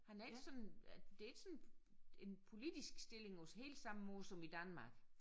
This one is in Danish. Han er ikke sådan det ikke sådan en politisk stilling på helt samme måde som i Danmark